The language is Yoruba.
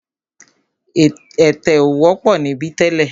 Ẹ̀tẹ̀ ò wọ́pọ̀ níbí tẹ́lẹ̀.